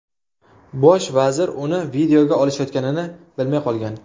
Bosh vazir uni videoga olishayotganini bilmay qolgan.